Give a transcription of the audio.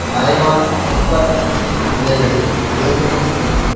மறைவான துப்பாக்கி சூட்டு நிலைகளை ஏற்படுத்தி கொண்டும்